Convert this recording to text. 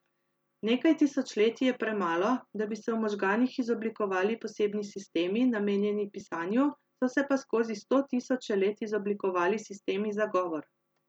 Nekaj tisočletij je premalo, da bi se v možganih izoblikovali posebni sistemi, namenjeni pisanju, so se pa skozi sto tisoče let izoblikovali sistemi za govor.